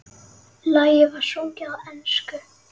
Lagið var sungið á ensku.